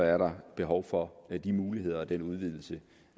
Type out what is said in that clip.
er der behov for de muligheder og den udvidelse